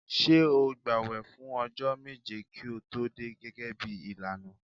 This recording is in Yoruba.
Ṣé o gbààwẹ̀ fún ọjọ́ méje kí o tó dé gẹ́gẹ́ bí ìlànà?